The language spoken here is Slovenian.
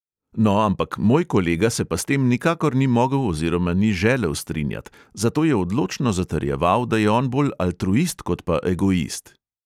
No, ampak moj kolega se pa s tem nikakor ni mogel oziroma ni želel strinjat, zato je odločno zatrjeval, da je on bolj altruist kot pa egoist.